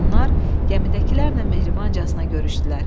Onlar gəmidəkilərlə mehribancasına görüşdülər.